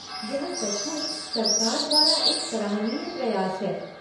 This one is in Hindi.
यह सचमुच सरकार द्वारा एक सराहनीय प्रयास है।